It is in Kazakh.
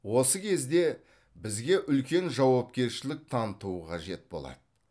осы кезде бізге үлкен жауапкершілік таныту қажет болады